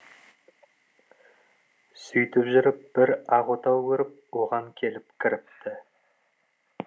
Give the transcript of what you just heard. сөйтіп жүріп бір ақ отау көріп оған келіп кіріпті